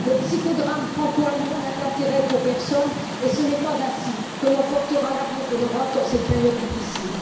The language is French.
Le psychodrame franco allemand n'a d'intérêt pour personne et ce n'est pas ainsi que l'on portera l'avenir de l'Europe dans cette période difficile.